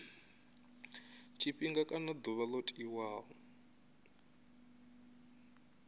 tshifhinga kana ḓuvha ḽo tiwaho